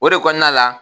O de kɔnɔna la